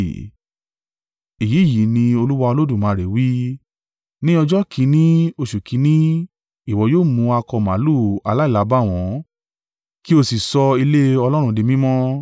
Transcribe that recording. “ ‘Èyí yìí ní Olúwa Olódùmarè wí: Ní ọjọ́ kìn-ín-ní oṣù kìn-ín-ní ìwọ yóò mú akọ màlúù aláìlábàwọ́n kì o sì sọ ilé Ọlọ́run di mímọ́.